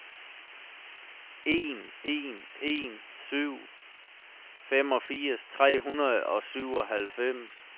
en en en syv femogfirs tre hundrede og syvoghalvfems